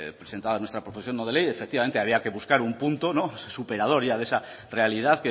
presentada nuestra proposición no de ley efectivamente había que buscar un punto superador ya de esa realidad